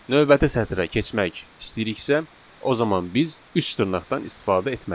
Növbəti sətrə keçmək istəyiriksə, o zaman biz üç dırnaqdan istifadə etməliyik.